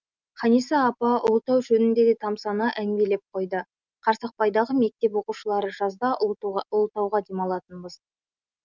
ханиса апа ұлытау жөнінде де тамсана әңгімелеп қойды қарсақбайдағы мектеп оқушылары жазда ұлытауға демалатынбыз